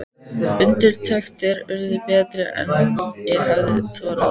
Undirtektir urðu betri en ég hafði þorað að vona.